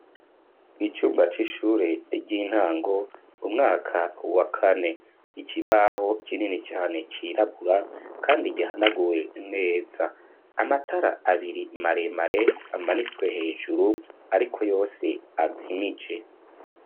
Icumba c'ishure ry'intango umwaka wa kane ikibaho kinini cyane cirabura kandi igihanaguye neza, amatara abiri maremare amanitswe hejuru ariko yose azimije.